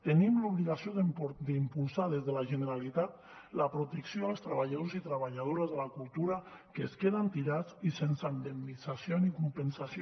tenim l’obligació d’impulsar des de la generalitat la protecció als treballadors i treballadores de la cultura que es queden tirats i sense indemnització ni compensació